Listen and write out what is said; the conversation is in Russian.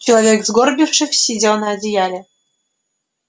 человек сгорбившись сидел на одеяле